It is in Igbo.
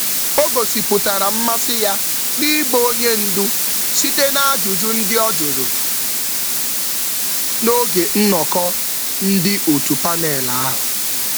Ajụjụ ya n’oge mmemme panel gosipụtara mmasị siri ike siri ike na mmepe ndu.